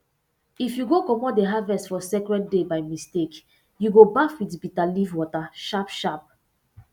if you go comot the harvest for sacred day by mistake you go baff with bitter leaf water sharpsharp